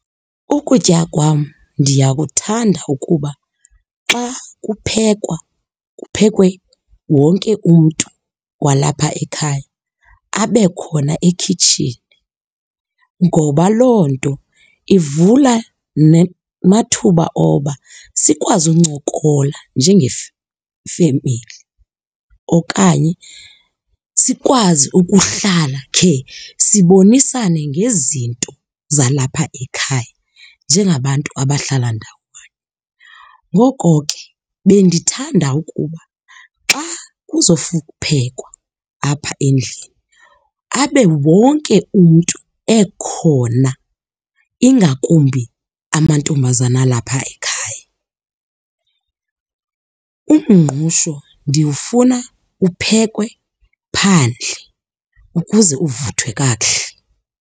Ukutya kwam ndiyakuthanda ukuba xa kuphekwa kuphekwe wonke umntu walapha ekhaya abe khona ekhitshini ngoba loo nto ivula nemathuba okuba sikwazi uncokola njengefemeli. Okanye sikwazi ukuhlala khe sibonisane ngezinto zalapha ekhaya njengabantu abahlala ndawonye. Ngoko ke bendithanda ukuba xa phekwa apha endlini abe wonke umntu ekhona ingakumbi amantombazana alapha ekhaya. Umngqusho ndiwufuna uphekwe phandle ukuze uvuthwe kakuhle.